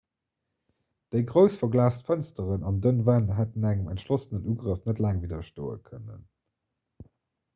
déi grouss verglaast fënsteren an dënn wänn hätten engem entschlossenen ugrëff net laang widderstoe kënnen